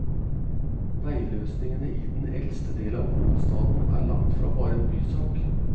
Veiløsningene i den eldste del av hovedstaden er langtfra bare en bysak.